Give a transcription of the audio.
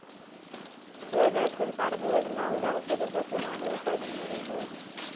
കേരളത്തിൽ കടന്നുവരുന്ന ഒരു ഔഷധ സസ്യമാണ് കരികുറിഞ്ഞി.